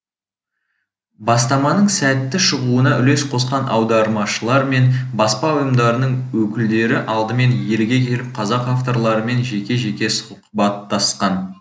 бастаманың сәтті шығуына үлес қосқан аудармашылар мен баспа ұйымдарының өкілдері алдымен елге келіп қазақ авторларымен жеке жеке сұхбаттасқан